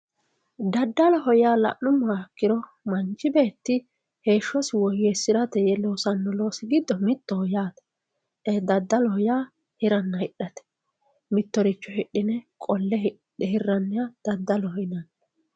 daddaloha yaa la'nummoha ikkiro manchi beetti heeshshosi woyyeessirate yee loosanno loosi giddo mittoho yaate ee daddaloho yaa hiranna hidhate mittoricho hidhine qolle hirranniha daddaloho yinanni.